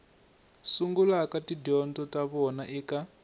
sungulaka tidyondzo ta vona eka